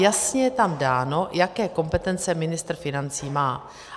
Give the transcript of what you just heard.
Jasně je tam dáno, jaké kompetence ministr financí má.